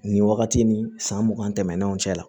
Nin wagati ni san mugan tɛmɛnenw cɛ la